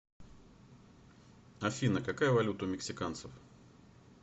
афина какая валюта у мексиканцев